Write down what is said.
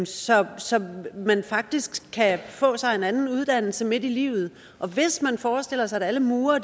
så så man faktisk kan få sig en anden uddannelse midt i livet og hvis man forestiller sig at alle murere